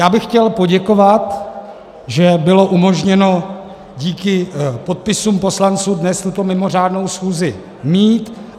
Já bych chtěl poděkovat, že bylo umožněno díky podpisům poslanců dnes tuto mimořádnou schůzi mít.